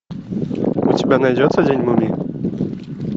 у тебя найдется день мумии